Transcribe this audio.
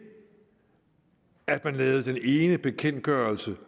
at man lavede den ene bekendtgørelse